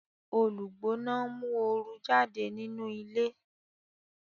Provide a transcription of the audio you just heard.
Olugbona nmu ooru jáde nínú ilé